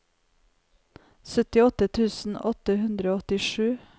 syttiåtte tusen åtte hundre og åttisju